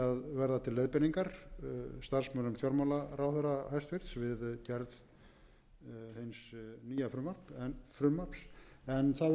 verða til leiðbeiningar starfsmönnum hæstvirtur fjármálaráðherra við gerð hins nýja frumvarps en það getur ekki síður orðið til þess að nefndarmenn